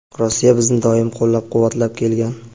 Rossiya bizni doimo qo‘llab-quvvatlab kelgan.